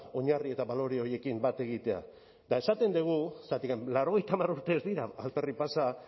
oinarri eta balore horiekin bat egitea eta esaten dugu zergatik laurogeita hamar urte ez dira alferrik pasa